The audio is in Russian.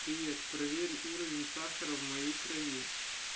привет проверь уровень сахара в моей крови